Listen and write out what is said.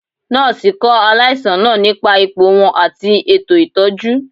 Nọọsi kọ alaisan naa nipa ipo wọn ati eto itọju.